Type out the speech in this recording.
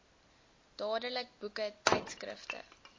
dadelik boeke tydskrifte